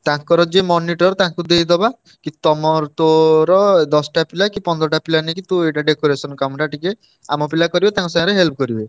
ତାଙ୍କର ଯିଏ monitor ତାଙ୍କୁ ଦେଇଦବା କି ତମର ତୋର ଦଶଟା ପିଲା କି ପନ୍ଦରଟା ପିଲା ନେଇକି ତୁ ଏଇଟା decoration କାମଟା ଟିକେ ଆମ ପିଲା କରିବେ ତାଙ୍କ ସାଙ୍ଗରେ help କରିବ।